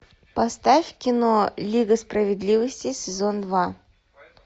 поставь кино лига справедливости сезон два